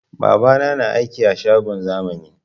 Babana na aiki a shagon zamani